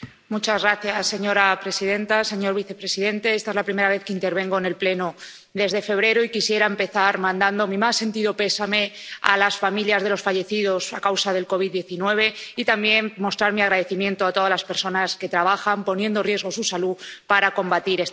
Señora presidenta, señor vicepresidente, esta es la primera vez que intervengo en el Pleno desde febrero y quisiera empezar mandando mi más sentido pésame a las familias de los fallecidos a causa del COVID 19 y también mostrar mi agradecimiento a todas las personas que trabajan, poniendo en riesgo su salud, para combatir esta pandemia.